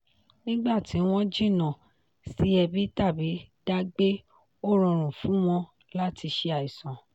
nígbà tí wọ́n jìnná sí ẹbí tàbí dá gbé ó rọrùn fún wọn láti ṣe àìsàn.